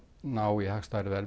ná í hagstæðari verð